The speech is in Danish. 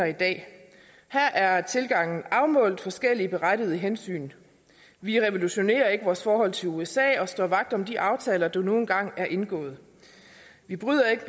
i dag her er tilgangen afmålt forskellige berettigede hensyn vi revolutionerer ikke vores forhold til usa og står vagt om de aftaler der nu engang er indgået vi bryder ikke